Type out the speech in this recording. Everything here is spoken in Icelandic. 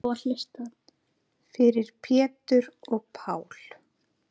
Fyrir Pétur og Pál.